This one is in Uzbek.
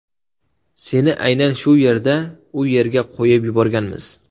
Seni aynan shu niyatda u yerga qo‘yib yuborganmiz.